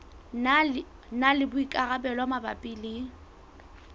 na le boikarabelo mabapi le